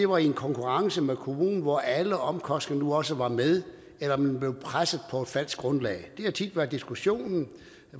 var i en konkurrence med kommunen hvor alle omkostninger nu også var med eller om man blev presset på et falsk grundlag det har tit været diskussionen